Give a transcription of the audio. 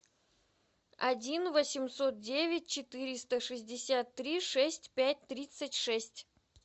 один восемьсот девять четыреста шестьдесят три шесть пять тридцать шесть